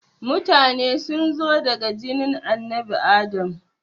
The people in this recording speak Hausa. Mutane sunzo daga jinin annabi Adam